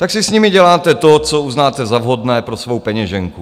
Tak si s nimi děláte to, co uznáte za vhodné pro svou peněženku.